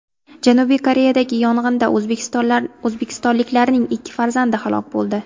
Janubiy Koreyadagi yong‘inda o‘zbekistonliklarning ikki farzandi halok bo‘ldi.